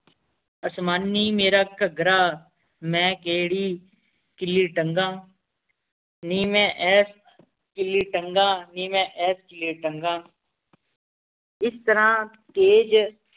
ਅਸਮਾਨੀ ਮੇਰਾ ਕੱਘਰਾ ਮੈਂ ਕੇਹੜੀ ਕੀਲੀ ਟੰਗਾ ਨੀ ਮੈਂ ਐਸ ਕੀਲੀ ਟੰਗਾਂ ਨੀ ਮੈਂ ਐਸ ਕੀਲੀ ਟੰਗਾਂ ਇਸ ਤਰ੍ਹਾਂ